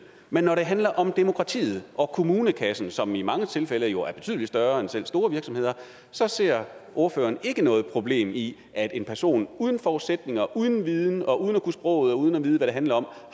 men når det handler om demokratiet og kommunekassen som i mange tilfælde jo er betydelig større end selv store virksomheders så ser ordføreren ikke noget problem i at en person uden forudsætninger altså uden viden og uden at kunne sproget og uden at vide hvad det handler om